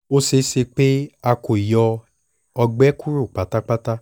o ṣee ṣe pe a ko yọ ọgbẹ kuro patapata